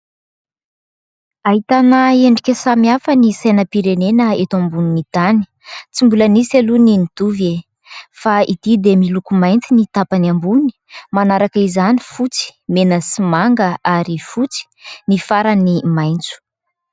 Ahitana endrika samy hafa ny sainam-pirenena eto ambonin'ny tany tsy mbola nisy aloha ny nitovy e ! Fa ity dia miloko mainty ny tapany ambony manaraka izany fotsy, mena sy manga ary fotsy, ny farany maintso.